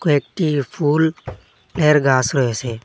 একটি ফুল এর গাছ রয়েছে।